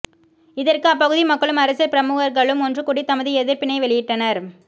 இதற்கு அப்பகுதி மக்களும் அரசியல் பிரமுகர்களும் ஒன்றுகூடி தமது எதிர்ப்பினை வெளியிட்டனர்